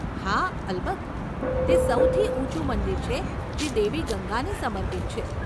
હા, અલબત્ત. તે સૌથી ઊંચું મંદિર છે જે દેવી ગંગાને સમર્પિત છે.